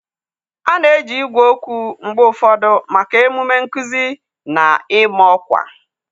A na-eji igwe okwu mgbe ụfọdụ maka emume nkuzi na ịma ọkwa.